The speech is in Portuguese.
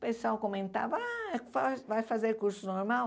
O pessoal comentava, ah, vai vai fazer curso normal?